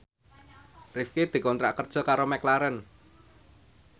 Rifqi dikontrak kerja karo McLaren